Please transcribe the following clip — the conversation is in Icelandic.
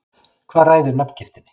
Hvað ræður nafngiftinni?